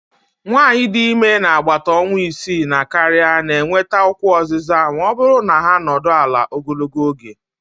nwanyị dị ime n'agbata ọnwa isii na karịa na-enweta ụkwụ oziza ma ọ bụrụ na ha anọdụ ala ogologo oge